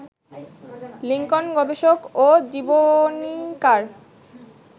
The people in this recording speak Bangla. লিংকন গবেষক ও জীবনীকার